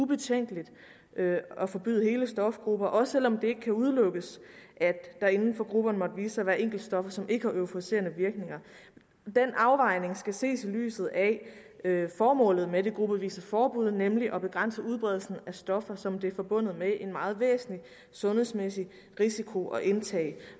betænkeligt at forbyde hele stofgrupper også selv om det ikke kan udelukkes at der inden for grupperne måtte vise sig at være enkeltstoffer som ikke har euforiserende virkninger den afvejning skal ses i lyset af formålet med det gruppevise forbud nemlig at begrænse udbredelsen af stoffer som det er forbundet med en meget væsentlig sundhedsmæssig risiko at indtage